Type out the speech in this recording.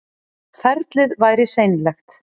Ferlið væri seinlegt